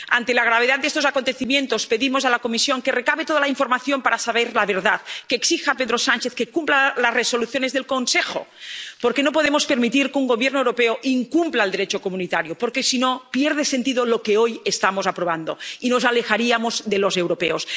Ante la gravedad de estos acontecimientos, pedimos a la Comisión que recabe toda la información para saber la verdad, que exija a Pedro Sánchez que cumpla las resoluciones del Consejo, porque no podemos permitir que un Gobierno europeo incumpla al Derecho comunitario, porque, si no, pierde sentido lo que hoy estamos aprobando y nos alejaríamos de los europeos.